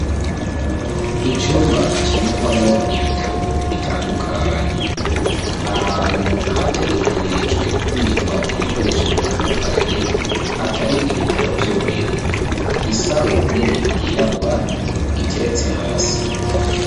Icumba kibikwamwo ibitabo bitandukanye. Ahantu hategekanirijwe kubikamwo ibikoresho bitandukanye atari ibitabo vyonyene. Isaho nini yirabura, iteretse hasi.